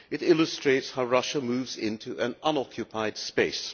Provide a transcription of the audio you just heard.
it illustrates how Russia moves into an unoccupied space.